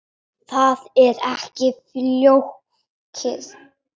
Það er ekki flókið.